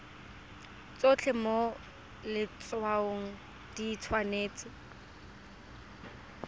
tsotlhe mo letshwaong di tshwanetse